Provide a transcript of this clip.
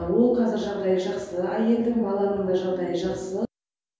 ол қазір жағдайы жақсы әйелдің баланың да жағдайы жақсы